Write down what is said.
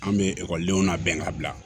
An bɛ ekɔlidenw labɛn ka bila